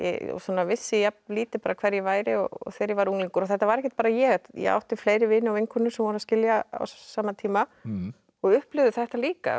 vissi jafn lítið hver ég væri og þegar ég var unglingur og þetta var ekkert bara ég ég átti fleiri vini og vinkonur sem voru að skilja á sama tíma og upplifðu þetta líka